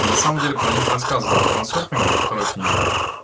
на самом деле про них рассказано в транс сёрфинге во второй книге